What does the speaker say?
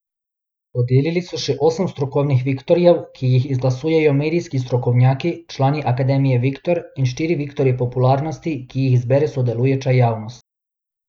Podelili so še osem strokovnih viktorjev, ki jih izglasujejo medijski strokovnjaki, člani Akademije Viktor, in štiri viktorje popularnosti, ki jih izbere sodelujoča javnost.